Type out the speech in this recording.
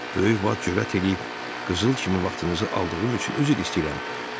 Böyük vat cürət eləyib qızıl kimi vaxtınızı aldığım üçün üzr istəyirəm.